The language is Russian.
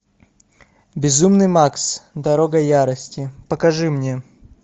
безумный макс дорога ярости покажи мне